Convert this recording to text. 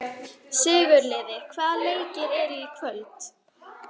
Sigurliði, hvaða leikir eru í kvöld?